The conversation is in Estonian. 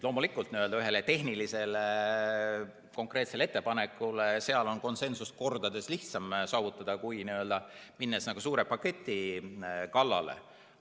Loomulikult, ühe tehnilise konkreetse ettepaneku puhul on konsensust mitu korda lihtsam saavutada kui n‑ö suure paketi kallale minnes.